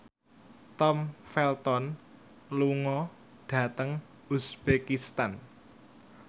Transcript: Tom Felton lunga dhateng uzbekistan